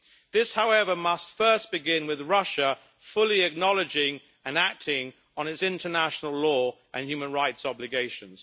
This, however, must first begin with Russia fully acknowledging and acting on its international law and human rights obligations.